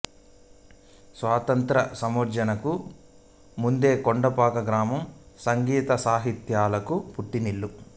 స్వాతంత్ర సముపార్జనకు ముందే కొండపాక గ్రామం సంగీత సాహిత్యాలకు పుట్టినిల్లు